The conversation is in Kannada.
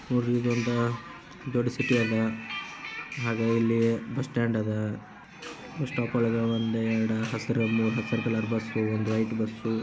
ಇದ್ದ್ ಒಂದು ದುಡ್ಡ ಸಿಟಿ ಅಲ್ಲ ಹಾಗೆ ಇಲ್ಲಿ ಬಸ್ ಸ್ಟಾಂಡ್ ಆದ ಬಸ್ ಸ್ಟಾಪ್ ವಳಗೆ ಒನ್ ಯೆರಡು ಹಸಿರು ಬಸ್ ಮತ್ತೆ ವೈಟ್ಬ ಬಸ್ ಅದ.